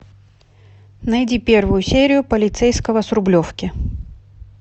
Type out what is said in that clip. найди первую серию полицейского с рублевки